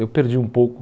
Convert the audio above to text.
Eu perdi um pouco.